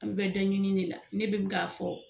An bɛɛ da ɲini de la ne bɛ k'a fɔ